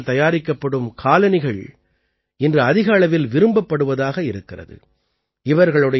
இந்த நாரினால் தயாரிக்கப்படும் காலணிகள் இன்று அதிக அளவில் விரும்பப்படுவதாக இருக்கிறது